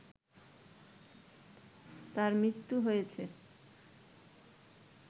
তার মৃত্যু হয়েছে